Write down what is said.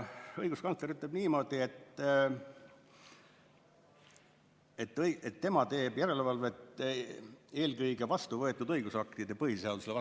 Õiguskantsler ütleb niimoodi, et tema teeb järelevalvet eelkõige vastuvõetud õigusaktide põhiseadusele vastavuse üle.